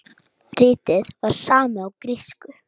Ritið var samið á grísku.